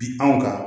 Bi anw kan